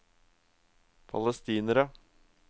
palestinere